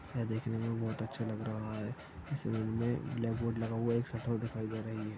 यह देखने में बोहत अच्छा लग रहा है इस रूम में ब्लैकबोर्ड लगा हुआ है एक शटर दिखाई दे रही है।